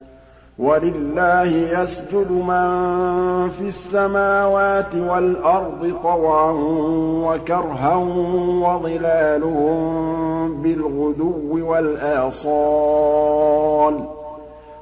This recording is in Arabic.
وَلِلَّهِ يَسْجُدُ مَن فِي السَّمَاوَاتِ وَالْأَرْضِ طَوْعًا وَكَرْهًا وَظِلَالُهُم بِالْغُدُوِّ وَالْآصَالِ ۩